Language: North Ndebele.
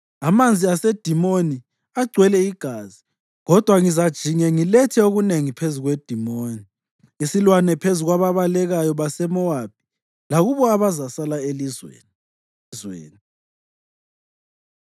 Amanzi aseDimoni agcwele igazi kodwa ngizajinge ngilethe okunengi phezu kweDimoni, isilwane phezu kwababalekayo baseMowabi, lakulabo abazasala elizweni.